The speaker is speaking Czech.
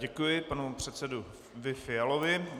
Děkuji panu předsedovi Fialovi.